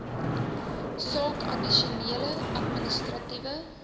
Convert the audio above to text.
saak addisionele administratiewe